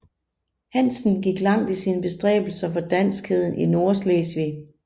Hanssen gik langt i sine bestræbelser for danskheden i Nordslesvig